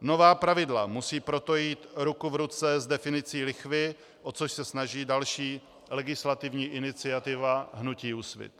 Nová pravidla musí proto jít ruku v ruce s definicí lichvy, o což se snaží další legislativní iniciativa hnutí Úsvit.